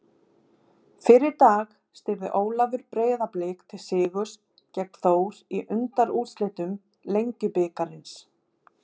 Fyrr í dag stýrði Ólafur Breiðablik til sigurs gegn Þór í undanúrslitum Lengjubikarsins.